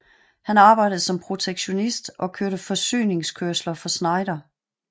Han arbejdede som projektionist og kørte forsyninskørsler for Schneider